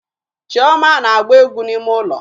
Chioma na-agba égwú n'ime ụlọ